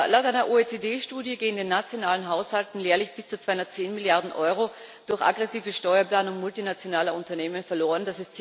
Laut einer OECD Studie gehen den nationalen Haushalten jährlich bis zu 210 Milliarden Euro durch aggressive Steuerplanung multinationaler Unternehmen verloren.